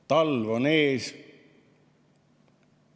Talv on ees.